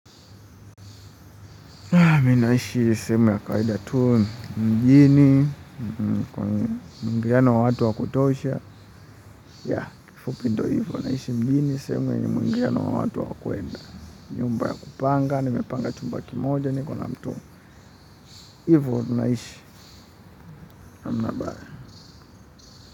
Mimi naishi sehemu ya kawaida tu mjini, muingiano wa watu wa kutosha, ya kifupi ndiyo hivyo naishi mjini, sehemu ya muingiano wa watu wa kuenda, nyumba ya kupanga, nimepanga chumba kimoja niko na mtu, hivyo tunaishi hamna habara.